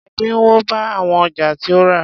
Ẹ̀dínwó bá àwọn ọjà tí o rà.